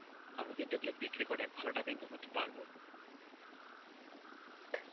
আমি কিন্তু ওগুলো বিক্রি করে ভালো টাকা income করতে পারব.